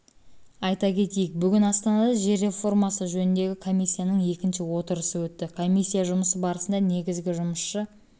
айта кетейік бүгін астанада жер реформасы жөніндегі комиссияның екінші отырысы өтті комиссия жұмысы барысында негізгі жұмысшы